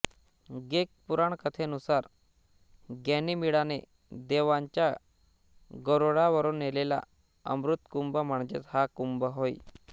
Greek पुराणकथेनुसार गॅनिमिडाने देवांसाठी गरूडावरून नेलेला अमृतकुंभ म्हणजेच हा कुंभ होय